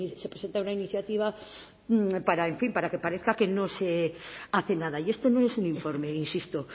se presenta una iniciativa para en fin para que parezca que no se hace nada y esto no es un informe insisto